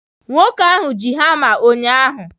Nwoke ahụ ji hama ụnyahụ